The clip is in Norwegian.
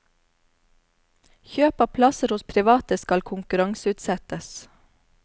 Kjøp av plasser hos private skal konkurranseutsettes.